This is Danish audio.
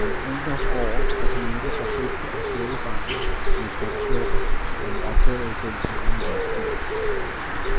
Man undres over at han ikke forsøgte at slukke branden med en skumslukker, da han opdagede den under en lastbil.